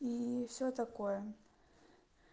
и всё такое